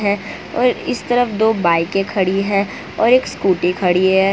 और इस तरफ दो बाइके खड़ी है और एक स्कूटी खड़ी है।